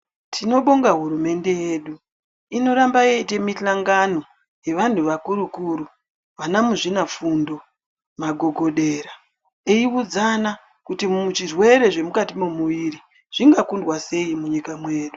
Tinobonga hurumende yedu inoramba yeita misangano yevanhu vakuru kuru vana muzvinafundo magogodera eiudzana kuti zvirwere zvirimukati mumuviri zvingakundwa sei munyika mewdu.